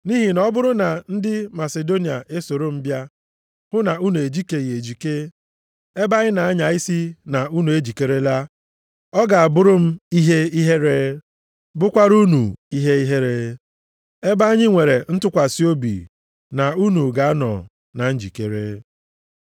Nʼihi na ọ bụrụ na ndị Masidonia esoro m bịa hụ na unu ejikeghị ejike, ebe anyị na-anya isi na unu ejikerela, ọ ga-abụrụ m ihe ihere, bụkwara unu ihe ihere, ebe anyị nwere ntụkwasị obi na unu ga-anọ na njikere.